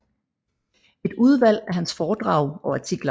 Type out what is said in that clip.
Et udvalg af hans foredrag og artikler